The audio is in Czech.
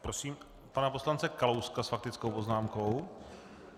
Prosím pana poslance Kalouska s faktickou poznámkou.